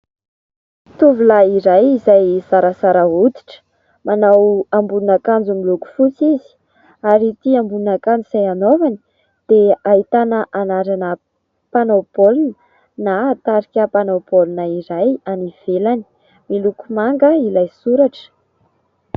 Tovolahy iray izay zarazara hoditra, manao ambonin'akanjo miloko fotsy izy ary ity ambonin'akanjo izay anaovany dia ahitana anarana mpanao baolina na tarika mpanao baolina iray any ivelany. Miloko manga ilay soratra.